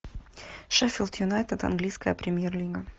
шеффилд юнайтед английская премьер лига